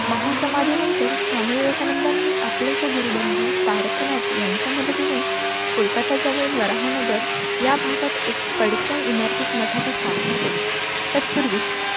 महा समाधी नंतर स्वामी विवेकानंदानी आपलकी गुरुबंध तारकनाथ यांच्या मदतीने कोलकाता जवळील वराह नगर या भागात एक पडक्या इमारतीत मठाची स्थापना केली. तत्पूर्वी